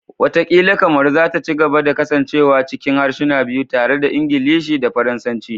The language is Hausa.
Wataƙila Kamaru za ta ci gaba da kasancewa cikin harsuna biyu, tare da Ingilishi da Faransanci.